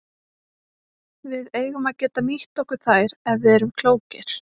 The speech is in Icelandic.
Við eigum að geta nýtt okkur þær ef við erum klókir.